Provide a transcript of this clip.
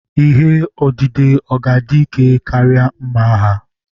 Ihe odide ọ̀ ga-adị ike karịa mma agha?